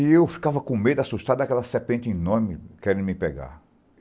E eu ficava com medo, assustado daquela serpente enorme querendo me pegar.